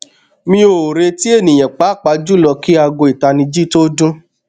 mi o reti eniyan paapaa julọ ki aago itaniji to dun